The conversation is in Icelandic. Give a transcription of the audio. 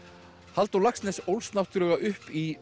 Halldór Laxness ólst náttúrlega upp í